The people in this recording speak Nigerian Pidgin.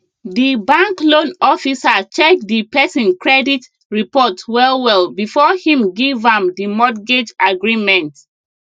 the bank loan officer check the person credit report well well before him give am the mortgage agreement